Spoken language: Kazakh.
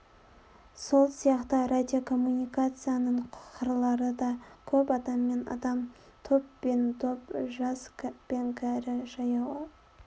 сол сияқты радиокоммуникацияның қырлары да көп адам мен адам топ пен топ жас пен кәрі жаяу